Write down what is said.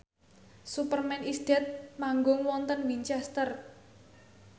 Superman is Dead manggung wonten Winchester